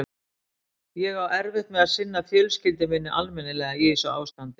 Ég á erfitt með að sinna fjölskyldu minni almennilega í þessu ástandi.